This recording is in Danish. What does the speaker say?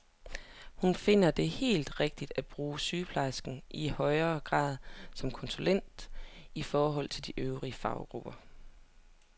Hun finder det helt rigtigt at bruge sygeplejerskerne i højere grad som konsulenter i forhold til de øvrige faggrupper.